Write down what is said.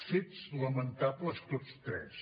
fets lamentables tots tres